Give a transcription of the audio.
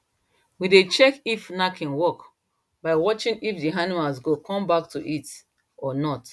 we dey check if knacking work by watching if the animal go come back to heat or not